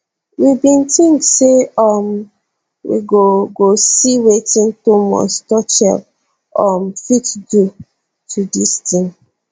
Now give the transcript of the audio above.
we bin tink say um we go go see wetin thomas tuchel um fit do to dis team